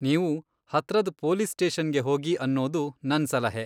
ನೀವು ಹತ್ರದ್ ಪೊಲೀಸ್ ಸ್ಟೇಷನ್ಗೆ ಹೋಗಿ ಅನ್ನೋದು ನನ್ ಸಲಹೆ.